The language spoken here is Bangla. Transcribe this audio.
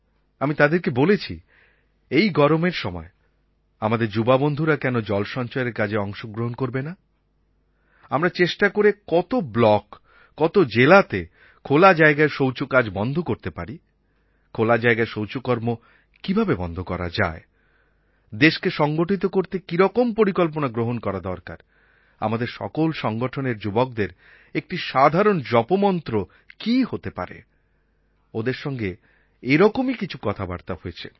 আমি তাদেরকে বলেছি এই গরমের সময় আমাদের যুবাবন্ধুরা কেন জল সঞ্চয়ের কাজে অংশ গ্রহণ করবে না আমরা চেষ্টা করে কত ব্লক কত জেলাতে খোলা জায়গায় শৌচকাজ বন্ধ করতে পারি খোলা জায়গায় শৌচকর্ম কীভাবে বন্ধ করা যায় দেশকে সংগঠিত করতে কীরকম পরিকল্পনা গ্রহণ করা দরকার আমাদের সকল সংগঠনের যুবকদের একটি সাধারণ জপমন্ত্র কী হতে পারে ওদের সঙ্গে এরকমই কিছু কথাবার্তা হয়েছে